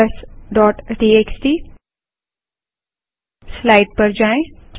numbers dot TXT slide पर जाएँ